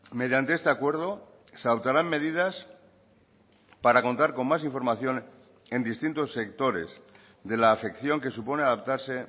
mediante este acuerdo se adoptarán medidas para contar con más información en distintos sectores de la afección que supone adaptarse